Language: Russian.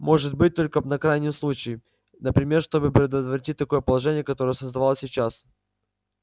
может быть только на крайний случай например чтобы предотвратить такое положение которое создавалось сейчас